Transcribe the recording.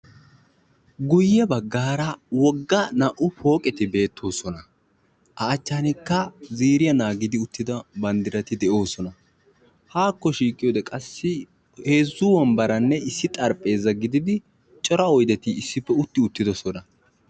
Guye bagara naa'u wogga pooqqetti beetosonna. A matan ziiriya naagiddi uttidda banddiratti de'osonna.